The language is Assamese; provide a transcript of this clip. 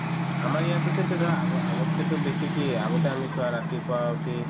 আমাৰ ইয়াতেতো ধৰা আগৰ~ আগতকেতো বেছি কি আগতে আমি চোৱা ৰাতিপুৱা উঠি